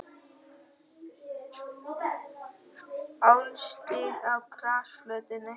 Álstigi á grasflötinni.